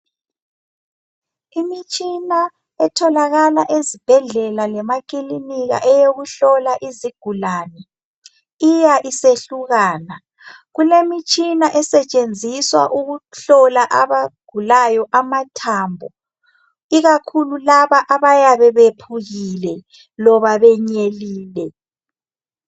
Imitshina etholakala ezibhedlela lemakilinika eyokuhlola izigulane iya isehlukana. Kulemitshina esetshenziswa ukuhlola abagulayo amathambo ikakhulu labo abayabe bephukile loba benyelile.